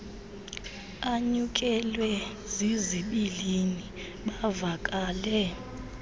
anyukelwe zizibilini bavakale